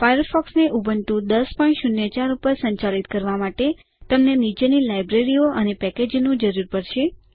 ફાયરફોક્સને Ubuntu ૧૦૦૪ ઉપર સંચાલિત કરવા માટે તમને નીચેની લાઈબ્રેરીઓ અથવા પેકેજોની જરૂર પડશે